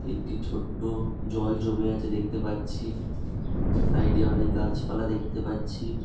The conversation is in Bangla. একটি ছোট্ট জল জমে আছে দেখতে পারছি সাইড -এ অনেক গাছপালা দেখতে পারছি ।